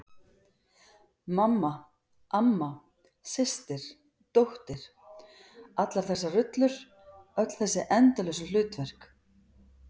Mamma, amma, systir dóttir- allar þessar rullur, öll þessi endalausu hlutverk.